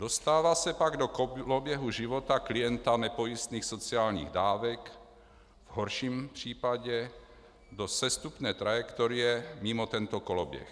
Dostává se pak do koloběhu života klienta nepojistných sociálních dávek, v horším případě do sestupné trajektorie mimo tento koloběh.